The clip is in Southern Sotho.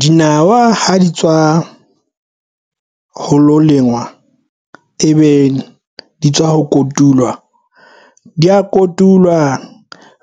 Dinawa ha di tswa ho lo lengwa e be di tswa ho kotulwa di ya kotulwa